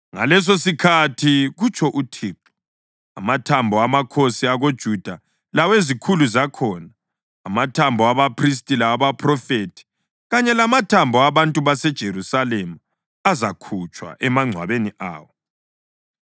“ ‘Ngalesosikhathi, kutsho uThixo, amathambo amakhosi akoJuda lawezikhulu zakhona, amathambo abaphristi lawabaphrofethi, kanye lamathambo abantu baseJerusalema azakhutshwa emangcwabeni awo.